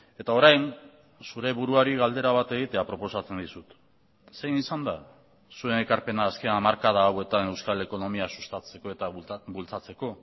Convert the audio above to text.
eta orain zure buruari galdera bat egitea proposatzen dizut zein izan da zuen ekarpena azken hamarkada hauetan euskal ekonomia sustatzeko eta bultzatzeko